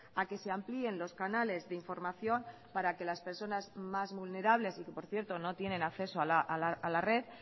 a que se amplíen los canales de información para que las personas más vulnerables y que por cierto no tienen acceso a la red